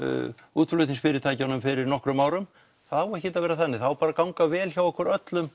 útflutningsfyrirtækjum fyrir nokkrum árum það á ekkert að vera þannig það á bara að ganga vel hjá okkur öllum